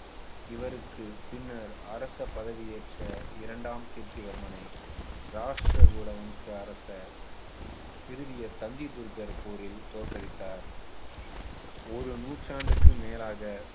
இவருக்கு பின்னர் அரசு பதவி ஏற்ற இரண்டாம் கீர்த்திவர்மனை ராஷ்டிர கூட வம்ச அரசர் திருவியர் தந்தி துர்க்கர் போரில் தோற்கடித்தார் ஒரு நூற்றாண்டுக்கு மேலாக